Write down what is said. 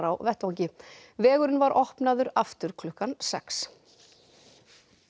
á vettvangi vegurinn var opnaður aftur klukkan sex